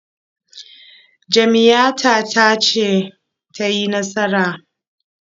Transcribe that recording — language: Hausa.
Jam'iyyata ce ta yi nasara.